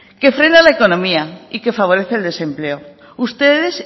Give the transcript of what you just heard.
que frena la economía y que favorece el desempleo ustedes